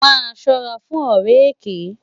Má sòrá fún òrè èkè